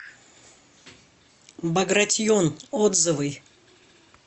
багратион отзывы